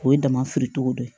O ye dama firi togo dɔ ye